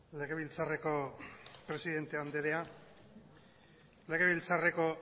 legebiltzarreko presidente andrea legebiltzarreko